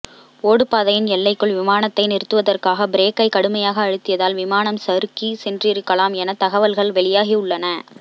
ஓடுபாதையின் எல்லைக்குள் விமானத்தை நிறுத்துவதற்காக பிரேக்கை கடுமையாக அழுத்தியதால் விமானம் சறுக்கிச் சென்றிருக்கலாம் என தகவல்கள் வெளியாகி உள்ளன